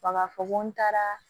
A b'a fɔ ko n taara